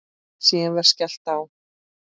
Síðan var skellt á.